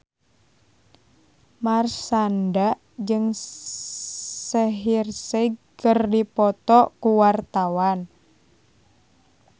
Marshanda jeung Shaheer Sheikh keur dipoto ku wartawan